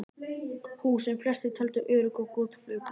Hús, sem flestir töldu örugg og góð, fuku.